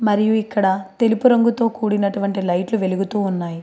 మరియు ఇక్కడ తెలుపు రంగుతో కూడినటువంటి లైట్లు వెలుగుతూ ఉన్నాయి.